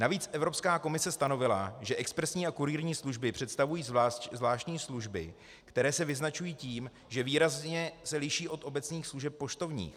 Navíc Evropská komise stanovila, že expresní a kurýrní služby představují zvláštní služby, které se vyznačují tím, že výrazně se liší od obecných služeb poštovních.